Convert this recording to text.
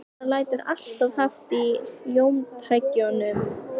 Það lætur alltof hátt í hljómtækjunum.